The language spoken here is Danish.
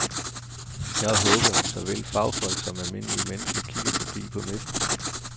Jeg håber, at såvel fagfolk som almindelige mennesker kigger forbi på messen.